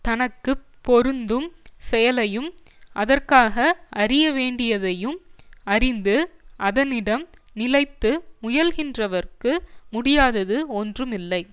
தனக்கு பொருந்தும் செயலையும் அதற்காக அறிய வேண்டியதையும் அறிந்து அதனிடம் நிலைத்து முயல்கின்றவர்க்கு முடியாதது ஒன்றும் இல்லை